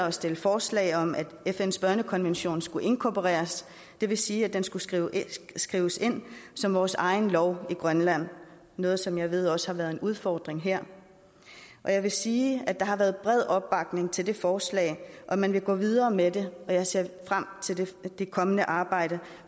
at stille forslag om at fns børnekonvention skulle inkorporeres det vil sige at den skulle skrives skrives ind som vores egen lov i grønland noget som jeg ved også har været en udfordring her jeg vil sige at der har været bred opbakning til det forslag og man vil gå videre med det jeg ser frem til det kommende arbejde